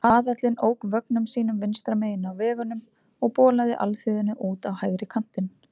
Aðallinn ók vögnum sínum vinstra megin á vegunum og bolaði alþýðunni út á hægri kantinn.